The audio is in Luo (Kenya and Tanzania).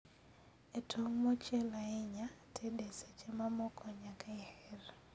E tong' mochiel ahinya, ted e seche mamoko nyaka iher